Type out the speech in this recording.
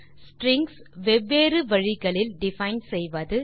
strings வெவ்வேறு வழிகளில் define செய்வது